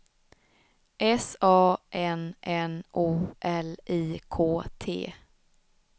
S A N N O L I K T